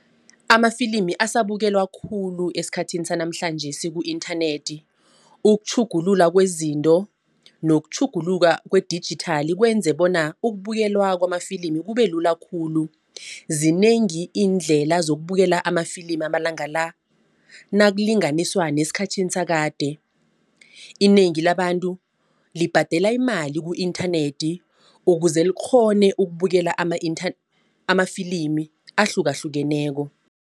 Amafilimi asabukelwa khulu esikhathini sanamhlanjesi ku-internet ukutjhugulula kwezinto nokutjhuguluka kwedijithali kwenze bona ukubukelwa kwamafilimi kube lula khulu. Zinengi iindlela zokubukela amafilimi amalanga la nakulinganiswa nesikhathini sakade. Inengi labantu libhadela imali ku-internet ukuze likghone ukubukela amafilimi ahlukahlukeneko.